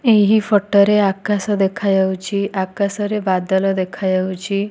ଏହି ଫଟ ରେ ଆକାଶ ଦେଖାଯାଉଛି। ଆକାଶରେ ବାଦଲ ଦେଖାଯାଉଚି।